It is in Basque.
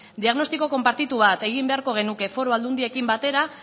diagnostiko konpartitu bat egin beharko genuke foru aldundiekin batera